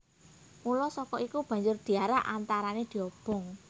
Mula saka iku banjur diarak antarané diobong